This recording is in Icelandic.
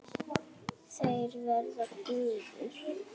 Þeir verða gufur.